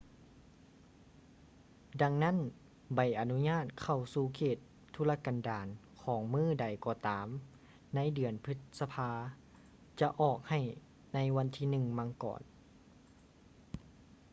ດັ່ງນັ້ນ ໃບອະນຸຍາດເຂົ້າສູ່ເຂດທຸລະກັນດານຂອງມື້ໃດກໍຕາມໃນເດືອນພຶດສະພາຈະອອກໃຫ້ໃນວັນທີ 1 ມັງກອນ